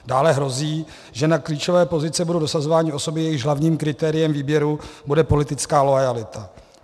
Dále hrozí, že na klíčové pozice budou dosazovány osoby, jejichž hlavním kritériem výběru bude politická loajalita.